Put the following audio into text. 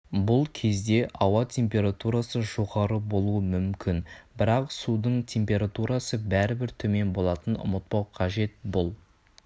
бұл кезде ауа температурасы жоғары болуы мүмкін бірақ судың температурасы бәрібір төмен болатынын ұмытпау қажет бұл